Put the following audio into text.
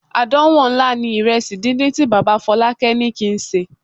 Àdánwò ńlá ni ìrẹsì díndín tí bàbá Fọlákẹ́ ní kí n sè.